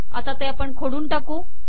आता हे खोडून टाकू